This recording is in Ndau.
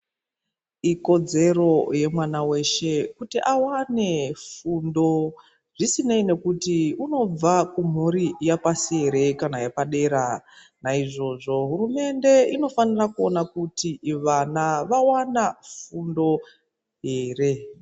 Ikodzero yemwana weshe kuti awane fundo zvisinei nekuti unobve kumhuri yepashi ere kana yepadera .Naizvozvo, hurumende inofanira kuone kuti vana vawana fundo ere.